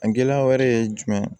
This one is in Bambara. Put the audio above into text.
A gɛlɛya wɛrɛ ye jumɛn